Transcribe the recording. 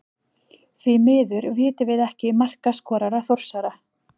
Því miður vitum við ekki markaskorara Þórsara.